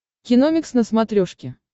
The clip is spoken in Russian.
киномикс на смотрешке